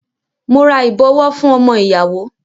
Mo ra ìbọwọ́ fún ọmọ ìyàwó.